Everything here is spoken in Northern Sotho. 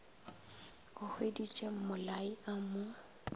a hweditše mmolai a mo